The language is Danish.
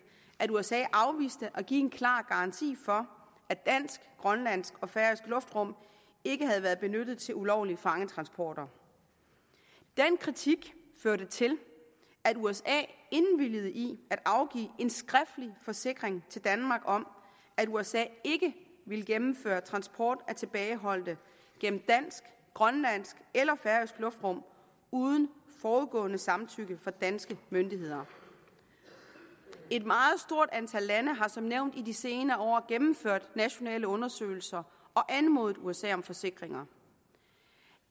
at usa afviste at give en klar garanti for at dansk grønlandsk og færøsk luftrum ikke havde været benyttet til ulovlige fangetransporter den kritik førte til at usa indvilgede i at afgive en skriftlig forsikring til danmark om at usa ikke ville gennemføre transport af tilbageholdte gennem dansk grønlandsk eller færøsk luftrum uden forudgående samtykke fra danske myndigheder et meget stort antal lande har som nævnt i de senere år gennemført nationale undersøgelser og anmodet usa om forsikringer